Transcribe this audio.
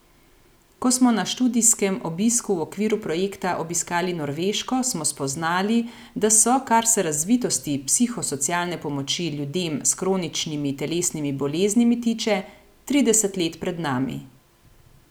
Ko smo na študijskem obisku v okviru projekta obiskali Norveško, smo spoznali, da so, kar se razvitosti psihosocialne pomoči ljudem s kroničnimi telesnimi boleznimi tiče, trideset let pred nami.